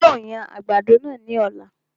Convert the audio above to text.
Yóò yan àgbàdo náà ní ọ̀la